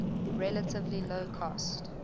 relatively low cost